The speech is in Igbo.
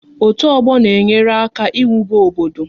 Otu ọgbọ na-enyere aka n'iwube obodo